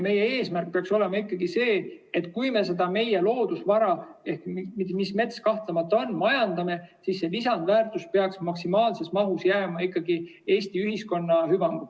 Meie eesmärk peaks olema ikkagi see, et kui me seda meie loodusvara, nagu mets kahtlemata on, majandame, siis lisandväärtus peaks maksimaalses mahus jääma ikkagi Eesti ühiskonna hüvanguks.